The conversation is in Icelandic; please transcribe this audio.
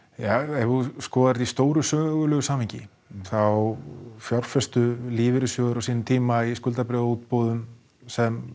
ef þú skoðar þetta í stóru sögulegu samhengi þá fjárfestu lífeyrissjóðir á sínum tíma í skuldabréfaútboðum sem